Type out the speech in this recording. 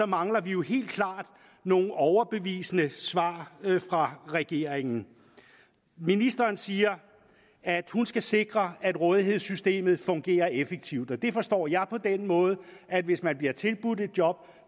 mangler vi jo helt klart nogle overbevisende svar fra regeringen ministeren siger at hun skal sikre at rådighedssystemet fungerer effektivt det forstår jeg på den måde at hvis man bliver tilbudt et job